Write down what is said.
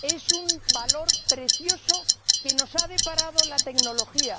Es un valor precioso que nos ha deparado la tecnología